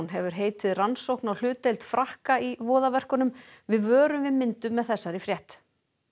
hefur heitið rannsókn á hlutdeild Frakka í við vörum við myndum með þessari frétt